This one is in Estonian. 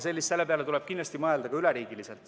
Ning selle peale tuleb kindlasti mõelda ka üleriigiliselt.